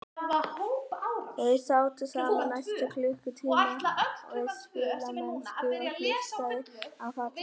Þau sátu saman næstu klukkutímana við spilamennsku og hlustuðu á fallega tónlist.